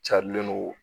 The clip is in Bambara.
Carilen don